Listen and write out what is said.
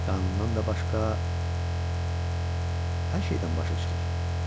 Qanundan da başqa hər şeydən başı çıxır.